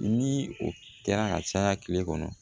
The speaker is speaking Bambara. Ni o kɛra ka caya kile kɔnɔ